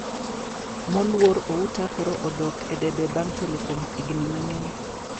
Moluor Outa koro dok e debe bang` telo kuom igni mathoth